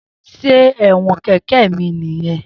Se ẹwọn kẹkẹ mi niyẹn?